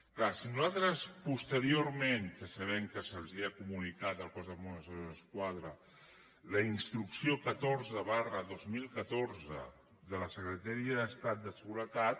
és clar si nosaltres posteriorment que sabem que se’ls ha comunicat al cos de mossos d’esquadra la instrucció catorze dos mil catorze de la secretaria d’estat de seguretat